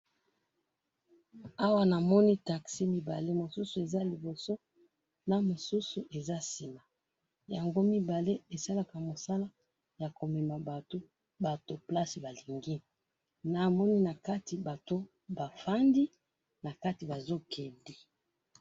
awa namoni taxi mibale mosusu eza liboso mosusu eza na sima yango mibale esalaka mosala ya komema batou batou place balingi namoni nakati bato bafandi nakati batou bazo kende